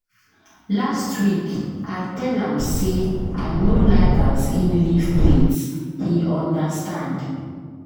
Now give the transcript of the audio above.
Last week, I tell am sey I no like as im leave plate, he understand.